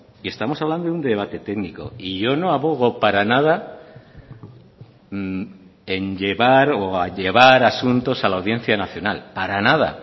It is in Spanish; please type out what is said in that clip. y estamos hablando de un debate técnico y yo no abogo para nada en llevar o a llevar asuntos a la audiencia nacional para nada